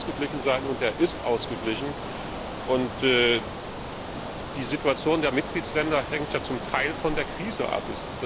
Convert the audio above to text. Er muss ausgeglichen sein, und er ist ausgeglichen. Die Situation der Mitgliedstaaten hängt ja zum Teil von der Krise ab.